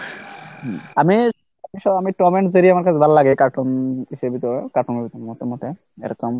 আমি Tom and Jerry আমাকে ভালো লাগে cartoon এরকম